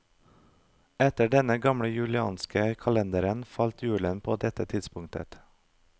Etter den gamle julianske kalenderen falt julen på dette tidspunktet.